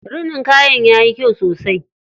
Rinin kayan yayi kyau sosai.